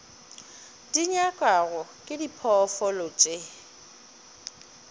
di nyakwago ke diphoofolo tše